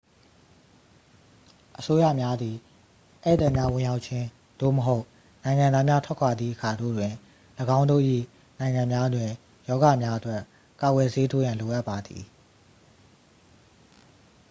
အစိုးရများသည် ဧည့်သည်များဝင်ရောက်ခြင်း သို့မဟုတ် နိုင်ငံသားများထွက်ခွာသည့်အခါတို့တွင်၎င်းတို့၏နိုင်ငံများတွင် ရောဂါများအတွက် ကာကွယ်ဆေးထိုးရန်လိုအပ်ပါသည်